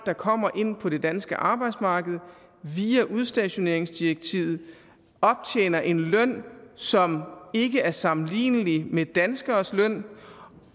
der kommer ind på det danske arbejdsmarked via udstationeringsdirektivet optjener en løn som ikke er sammenlignelig med danskeres løn